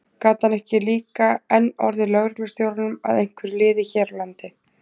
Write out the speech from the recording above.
Gat hann ekki líka enn orðið lögreglustjóranum að einhverju liði hér á landi?